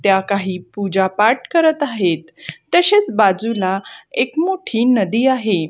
त्या काही पूजा पाठ करत आहेत तशेच बाजूला एक मोठी नदी आहे.